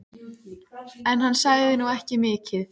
En hann sagði nú ekki mikið.